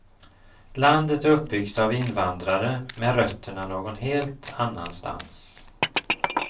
Landet är uppbyggt av invandrare med rötterna någon helt annanstans.